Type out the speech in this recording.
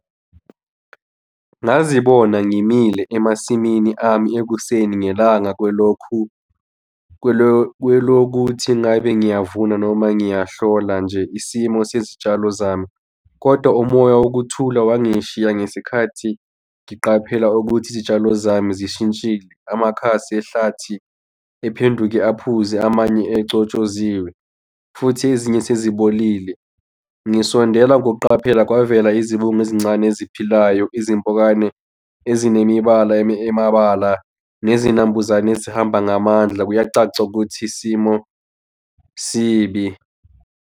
Ngazibona ngimile emasimini ami ekuseni ngelanga kwelokhu kwelokuthi ngabe ngiyavuna noma ngiyahlola nje isimo sezitshalo zami. Kodwa umoya wokuthula wangishiya ngesikhathi ngiqaphela ukuthi izitshalo zami zishintshile amakhasi ehlathi ephenduke aphuze amanye ecotshoziwe, futhi ezinye sezibolile. Ngisondela ngokuqaphela kwavela izibungu ezincane eziphilayo, izimpukane ezinemibala emabala nezinambuzane ezihamba ngamandla. Kuyacaca ukuthi isimo sibi.